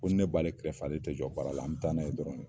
Ko ni b'ale kɛrɛfɛ baara la ale tɛ jɔ an bɛ taa n'a ye dɔrɔn .